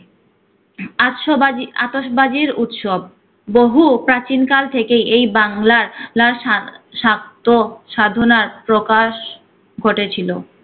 আতশ বাজি আতশবাজির উৎসব। বহু প্রাচীন কাল থেকেই এই বাংলার লার সদ্~ সাদ্য সাধনার প্রকাশ ঘটেছিল।